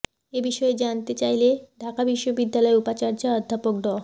এ বিষয়ে জানতে চাইলে ঢাকা বিশ্ববিদ্যালয়ের উপাচার্য অধ্যাপক ড